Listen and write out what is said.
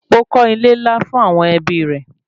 Ó kọ́ ilé-ńlá fún àwọn ẹbí rẹ̀